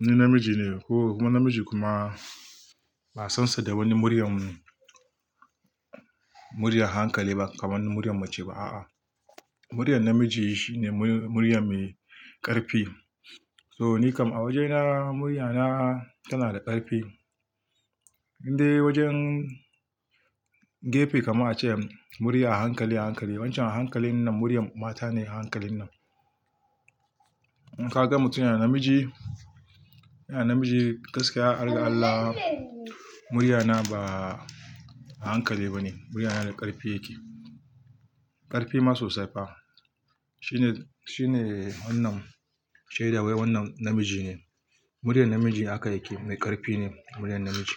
ni namiji ne ko kuma namiji kuma ba san sa da wani muryan, murya hankali ba kaman na muryan mace ba a'a. Muryan namiji shine murya mai ƙarfi. So ni kam awaje na murya na tana da ƙarfi. Indai wajen gefe kaman a ce murya hankali, hankali. Wancan a hankalin nan muryan mata ne a hankalin nan. In ka ga mutum yana namiji, yana namiji gaskiya, harga Allah, murya na ba a hankali ba ne. Murya na da ƙarfi yake, ƙarfi ma sosai fa. Shine, shine wannan shaida wai wannan namiji ne. Muryan namiji haka yake, mai ƙarfi ne muryan namiji.